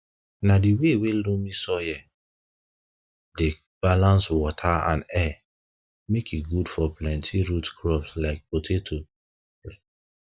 na di wey wey loamy soil dey balance water and air make e good for plenti root crops like potatoes like potatoes